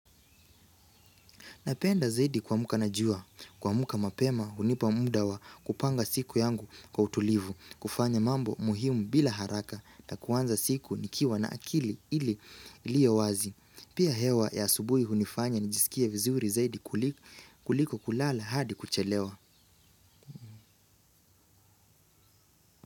Napenda zaidi kuamka na jua kuamka mapema hunipa muda wa kupanga siku yangu kwa utulivu kufanya mambo muhimu bila haraka na kuanza siku nikiwa na akili ili iliyo wazi. Pia hewa ya asubuhi hunifanya nijisikie vizuri zaidi kuliko kulala hadi kuchelewa.